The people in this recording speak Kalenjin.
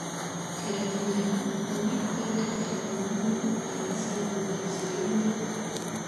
Keret neo, nemi kwen ak keret neming eng hesabukab serindet